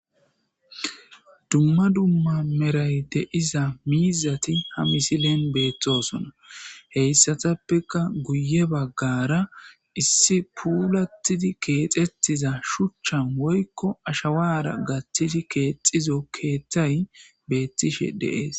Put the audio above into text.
Duma duma merayi diza mizzati ha missilen bettossona heyssatappeka guye baggara issi puullatidi keththetiza shuchchan woyikko ashshawara gathidi kexxizo keththay bettishshe de'es.